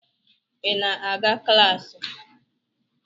Ị na-aga klaasị?